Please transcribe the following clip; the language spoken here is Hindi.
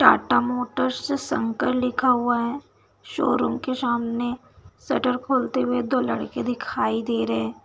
टाटा मोटर्स शंकर लिखा हुआ है शोरूम के सामने शटर खोलते हुए दो लड़के दिखाई दे रहें हैं।